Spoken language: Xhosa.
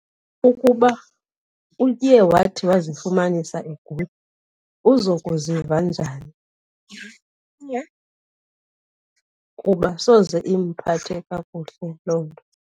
Ukuba uye wathi wazifumanisa egula uzokuziva njani? Kuba soze imphathe kakuhle loo nto.